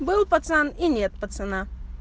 был пацан и нет пацана